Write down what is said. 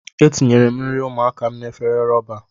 Etinyere m nri ụmụaka m n'ime efere rọba.